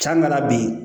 Can na bi